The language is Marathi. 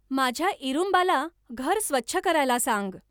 माझ्या इरूंबाला घर स्वच्छ करायला सांग